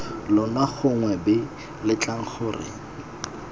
lona gongwe b letlang gore